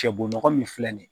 Cɛbo nɔgɔ min filɛ nin